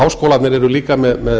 háskólarnir eru líka með